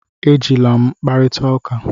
Ejila m kparịta ụka!